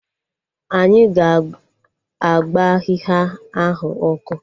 Anyị ga-agba ahịhịa ahụ ọkụ